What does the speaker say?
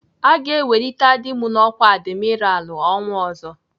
Aga ewelite dị m n'ọkwá adimiralụ ọnwa ọzọ.